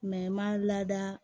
n ma lada